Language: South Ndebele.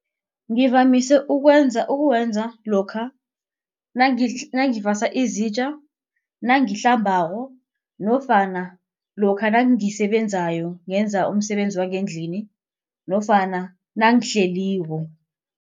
Ngivamise ukwenza ukuwenza lokha nangivasa izitja nangihlambako nofana lokha nangisebenzayo ngenza umsebenzi wangendlini nofana nangihleliko.